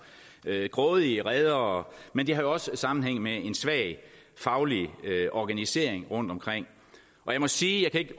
med grådige redere men det har også sammenhæng med en svag faglig organisering rundtomkring jeg må sige at